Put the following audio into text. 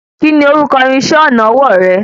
Kíni orúkọ irinṣẹ́ ọnà ọwọ́ rẹ?